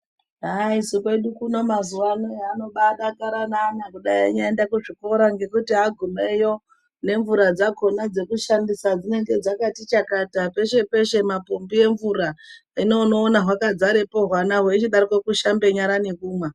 Haa isu kwedu uno mazuwa ano haanobadakara naana kudai anoende kuchikora ngekuti agumeyo nemvura dzakhona dzekushandisa dzinenge dzakati chakata peshe peshe mapombi emvura hino unoone hwakadzarepo hwana hweichidarokwo kushambe nyara nekumwa.